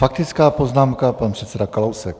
Faktická poznámka, pan předseda Kalousek.